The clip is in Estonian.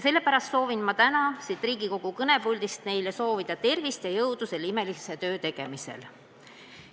Sellepärast soovin ma täna siit Riigikogu kõnepuldist neile tervist ja jõudu selle imelise töö tegemisel.